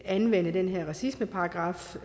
anvende den her racismeparagraf